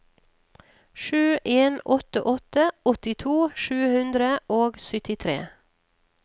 sju en åtte åtte åttito sju hundre og syttitre